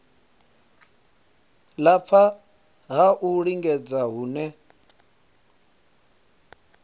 lafha ha u lingedza hune